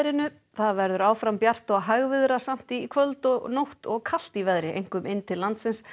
það verður áfram bjart og í kvöld og nótt og kalt í veðri einkum inn til landsins